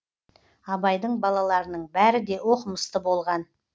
абайдың балаларының бәрі де оқымысты болған